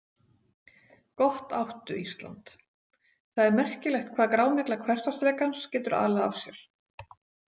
Gott áttu, Ísland Það er merkilegt hvað grámygla hversdagsleikans getur alið af sér.